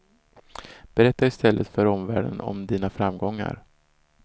Berätta i stället för omvärlden om dina framgångar.